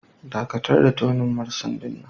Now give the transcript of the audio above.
Dakatar da tuning marcendin nan!